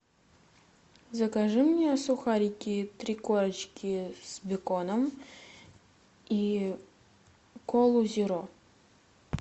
закажи мне сухарики три корочки с беконом и колу зеро